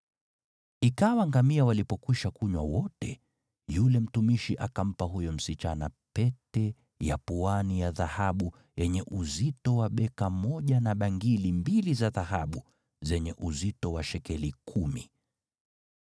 Ikawa ngamia walipokwisha kunywa wote, yule mtumishi akampa huyo msichana pete ya puani ya dhahabu yenye uzito wa beka moja na bangili mbili za dhahabu zenye uzito wa shekeli kumi.